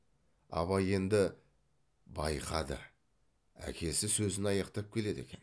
абай енді байқады әкесі сөзін аяқтап келеді екен